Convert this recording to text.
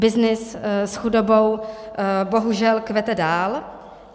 Byznys s chudobou bohužel kvete dál.